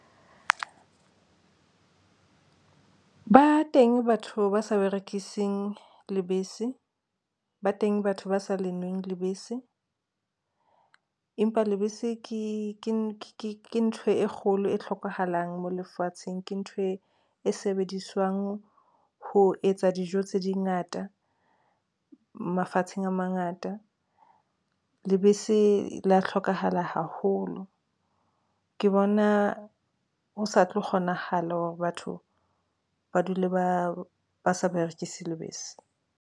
Ba teng batho ba sa berekising lebese, ba teng batho ba sa lenweng lebese, empa lebese ke ntho e kgolo e hlokahalang mo lefatsheng ke ntho e sebediswang ho etsa dijo tse di ngata, mafatsheng a mangata. Lebese la hlokahala haholo ke bona ho sa tlo kgonahala hore batho ba dule ba sa berekise lebese.